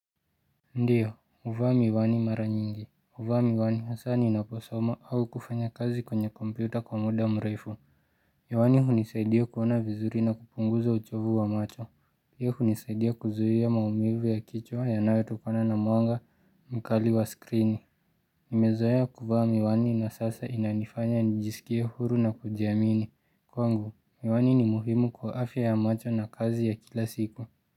Ndiyo, huvaa miwani mara nyingi, huvaa miwani hasa ninaposoma au kufanya kazi kwenye kompyuta kwa muda mrefu, miwani hunisaidia kuona vizuri na kupunguza uchovu wa macho, pia hunisaidia kuzuia maumivu ya kichwa yanayotokana na mwanga mkali wa screen Nimezoea kuvaa miwani na sasa inanifanya nijisikie huru na kujiamini, kwangu miwani ni muhimu kwa afya ya macho na kazi ya kila siku.